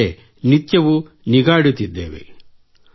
ಅವರ ಮೇಲೆ ನಿತ್ಯವೂ ನಿಗಾ ಇಡುತ್ತಿದ್ದೇವೆ